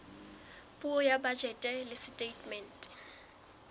puo ya bajete le setatemente